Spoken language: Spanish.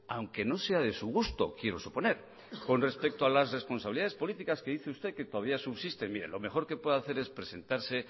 aunque no sea de su gusto quiero suponer con respecto a las responsabilidades políticas que dice usted que todavía subsisten mire lo mejor que puede hacer es presentarse